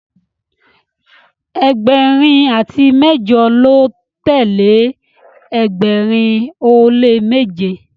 ẹgbẹrin ati mẹjọ lọ tẹle ẹgbẹrin o le meje